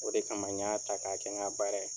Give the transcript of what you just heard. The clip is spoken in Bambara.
O de kama n y'a ta k'a kɛ n ka baara ye.